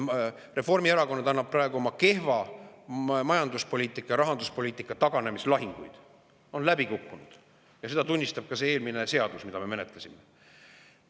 Reformierakond annab praegu oma kehva majanduspoliitika ja rahanduspoliitika taganemislahinguid, ta on läbi kukkunud ja seda tunnistab ka see eelmine seadus, mida me menetlesime.